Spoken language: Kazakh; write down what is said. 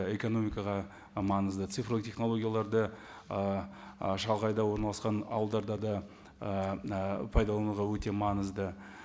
экономикаға і маңызды цифрлық технологияларды ііі орналасқан ауылдарда да ііі пайдалануға өте маңызды